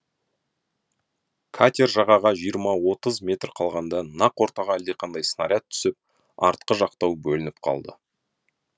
катер жағаға жиырма отыз метр қалғанда нақ ортаға әлдеқандай снаряд түсіп артқы жақтау бөлініп қалды